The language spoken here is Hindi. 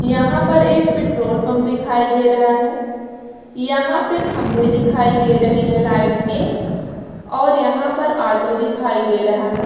यहाँ पर एक पेट्रोल पंप दिखाई दे रहा है यहाँ पे खम्भे दिखाई दे रहे हैं लाइट के और यहाँ पर ऑटो दिखाई दे रहा है।